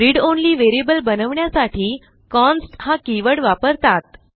read only variable बनवण्यासाठी const हा keyword वापरतात